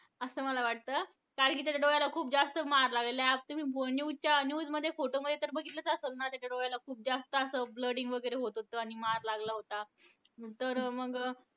असं मला वाटतं. कारण कि त्याच्या डोळ्याला खूप जास्त मार लागलाय. आता तुम्ही news च्या news मध्ये photo मध्ये तर बघतिलचं असेल ना, त्याच्या डोळ्याला खूप जास्त असं blooding वगैरे होत होतं. आणि मार लागला होता. तर मग